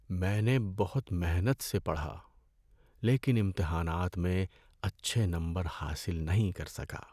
میں نے بہت محنت سے پڑھا لیکن امتحانات میں اچھے نمبر حاصل نہیں کر سکا۔